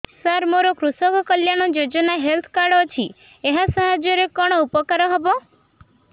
ସାର ମୋର କୃଷକ କଲ୍ୟାଣ ଯୋଜନା ହେଲ୍ଥ କାର୍ଡ ଅଛି ଏହା ସାହାଯ୍ୟ ରେ କଣ ଉପକାର ହବ